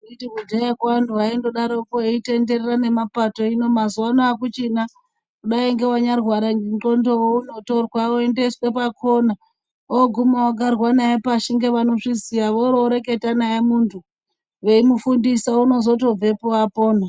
Anditi kudhayakwo antu aindodaroko eitenderera nemapato hino mazuvaano akuchina . Kudai ngewanyarwara ngendxondo unotorwa achiendeswa pakona oguma ogarirwa pashi ngevanozviziya ororeketa naye muntu veimufundisa unozotobvepo apona.